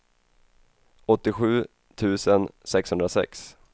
åttiosju tusen sexhundrasex